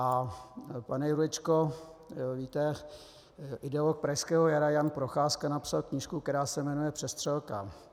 A pane Jurečko, víte, ideolog pražského jara Jan Procházka napsal knížku, která se jmenuje Přestřelka.